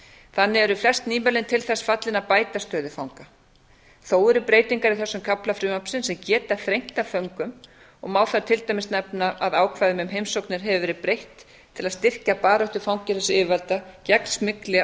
þannig eru flest nýmælin til þess fallin að bæta stöðu fanga þó eru breytingar í þessum kafla frumvarpsins sem geta þrengt að föngum og má þar til dæmis nefna að ákvæðum um heimsóknir hefur verið breytt til að styrkja baráttu fangelsisyfirvalda gegn smygli á